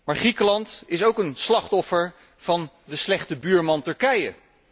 Maar Griekenland is ook een slachtoffer van de slechte buurman Turkije.